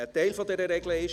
Ein Teil der Regeln ist: